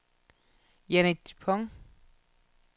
Jannik Dupont